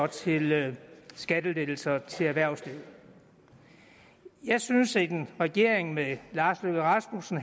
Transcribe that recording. til skattelettelser til erhvervslivet jeg synes at en regering med herre lars løkke rasmussen